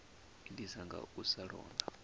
itiswa nga u sa londa